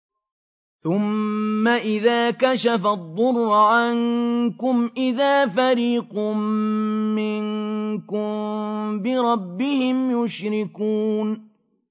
ثُمَّ إِذَا كَشَفَ الضُّرَّ عَنكُمْ إِذَا فَرِيقٌ مِّنكُم بِرَبِّهِمْ يُشْرِكُونَ